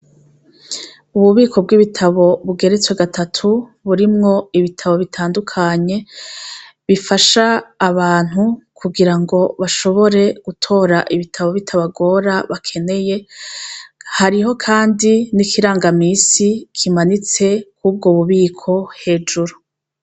Ububiko bw' ibitabo bugeretswe gatatu burimwo ibitabo bitandukanye bifasha abantu kugira ngo bashobore gutora ibitabo bitabagora bakeneye hariho kandi n' ikirangamisi kimanitse kuri ubwo bubiko hejuru.